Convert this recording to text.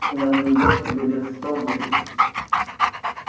на небось тебе лет сто будет